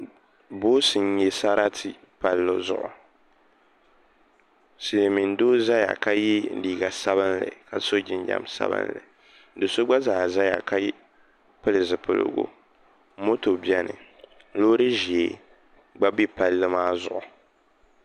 Boosi n nyɛ sarati palli zuɣu silmiin doo ʒɛya ka yɛ liiga sabinli ka so jinjɛm sabinli do so gba zaa ʒɛya ka pili zipiligu moto biɛni loori ʒiɛ gba bɛ palli maa zuɣu